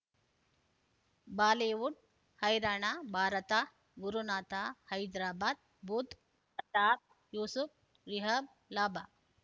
Bollywood ಹೈರಾಣ ಭಾರತ ಗುರುನಾಥ ಹೈದರಾಬಾದ್ ಬುಧ್ ಪ್ರತಾಪ್ ಯೂಸುಫ್ ರಿಹಬ್ ಲಾಭ